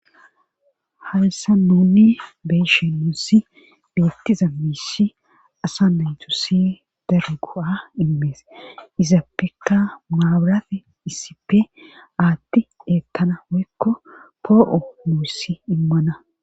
haysa nuni beeshe nuussi beettiza miissi asa naytusi daro go7a immees izappekka maaburafe issipe aatti eettana woykko poo7o muussi immana